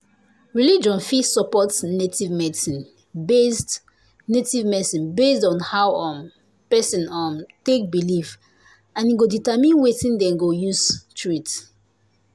religion fit support native medicine based native medicine based on how um person um take believe and e go determine wetin dem go use treat.